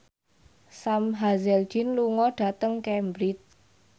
Sam Hazeldine lunga dhateng Cambridge